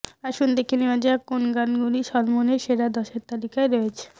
আসুন দেখে নেওয়া যাক কোন গানগুলি সলমনের সেরা দশের তালিকায় রয়েছে